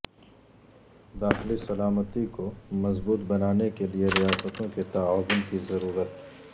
داخلی سلامتی کو مضبوط بنانے کے لئے ریاستوں کے تعاون کی ضرورت